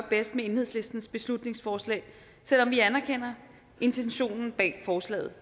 bedst med enhedslistens beslutningsforslag selv om vi anerkender intentionen bag forslaget